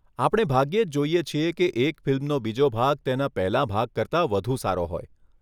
આપણે ભાગ્યે જ જોઈએ છીએ કે એક ફિલ્મનો બીજો ભાગ તેના પહેલાં ભાગ કરતાં વધુ સારો હોય.